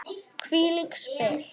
Hvílík spil!